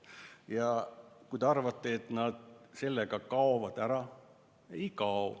Ja kui te arvate, et nad nüüd kaovad ära, siis ei kao.